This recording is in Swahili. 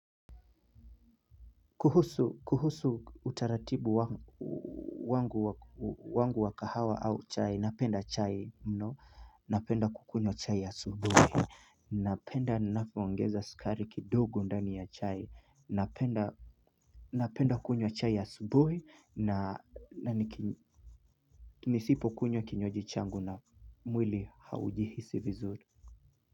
Kuhusu kuhusu utaratibu wangu wangu wa kahawa au chai napenda chai mno napenda kukunywa chai asubuhi. Napenda ninapoongeza sukari kidogo ndani ya chai napenda kunywa chai asubuhi na nisipo kunywa kinyuaji changu na mwili haujihisi vizuri.